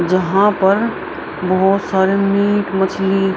जहाँ पर बहुत सारे मीट मछली --